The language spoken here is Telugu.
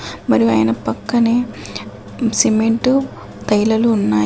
మరియు ఆయన పక్కనే సిమెంటు తైలలు ఉన్నాయి.